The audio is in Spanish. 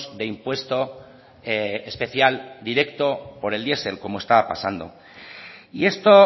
de impuesto especial directo por el diesel como estaba pasando y esto